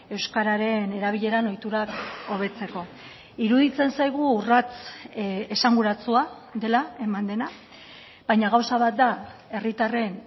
euskararen erabileran ohiturak hobetzeko iruditzen zaigu urrats esanguratsua dela eman dena baina gauza bat da herritarren